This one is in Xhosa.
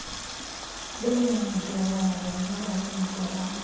beentolongo bonyulwa kwiintolongo